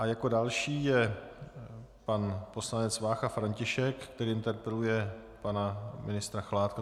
A jako další je pan poslanec Vácha František, který interpeluje pana ministra Chládka.